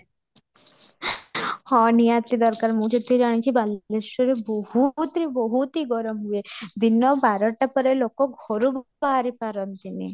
ହଁ ନିହାତି ଦରକାର ମୁଁ ଯେତିକି ଜାଣିଛି ବାଲେଶ୍ୱରରେ ବହୁତ ହି ବହୁତ ହି ଗରମ ହୁଏ ଦିନ ବାର ଟା ପରେ ଲୋକ ଘରୁ ବାହାରି ପାରନ୍ତିନି